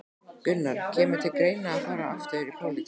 Gunnar: Kemur til greina að fara aftur í pólitík?